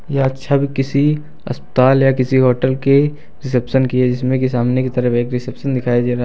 यह छवि किसी अस्पताल या किसी होटल के रिसेप्शन की है जिसमें की सामने की तरफ एक रिसेप्शन दिखाई दे रहा --